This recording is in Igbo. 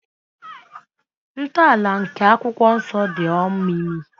Ntọala nke akwụkwọ nsọ dị omimi.